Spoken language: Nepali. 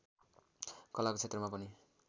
कलाको क्षेत्रमा पनि